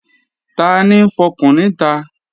Tani ń fọkùn níta?